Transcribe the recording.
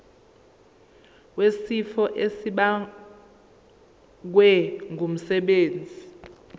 wesifo esibagwe ngumsebenzi